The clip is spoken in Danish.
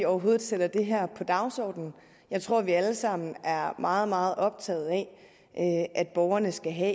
overhovedet sætter det her på dagsordenen jeg tror vi alle sammen er meget meget optaget af at at borgerne skal have